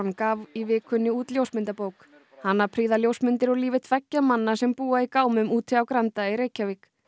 gaf í vikunni út ljósmyndabók hana prýða ljósmyndir úr lífi tveggja manna sem búa í gámum úti á Granda í Reykjavík